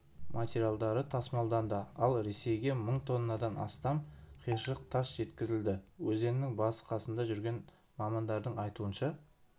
материалдары тасымалданды ал ресейге мың тоннадан астам қиыршық тас жеткізілді өзеннің басы-қасында жүрген мамандардың айтуынша